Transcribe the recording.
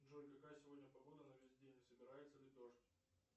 джой какая сегодня погода на весь день не собирается ли дождь